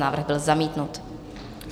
Návrh byl zamítnut.